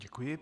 Děkuji.